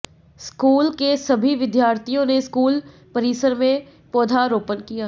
school के सभी विद्यार्थीयों ने स्कूल परिसर में पौधारोपण किया